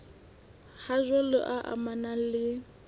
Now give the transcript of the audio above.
ha jwale e amanang le